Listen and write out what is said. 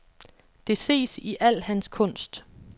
Det ses i al hans kunst.